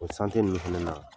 O ninnu fɛnɛ na